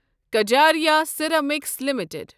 Kajaria ceramics limited